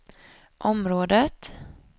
området